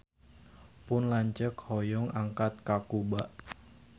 Pun lanceuk hoyong angkat ka Kuba